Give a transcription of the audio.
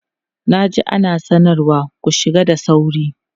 Na ji ana sanarwa "ku shiga da sauri"!